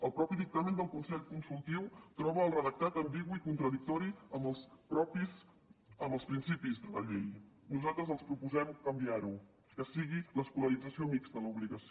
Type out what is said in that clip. el mateix dictamen del consell consultiu troba el redactat ambigu i contradictori amb els principis d’una llei nosaltres els proposem canviarho que sigui l’escolarització mixta l’obligació